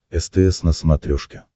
стс на смотрешке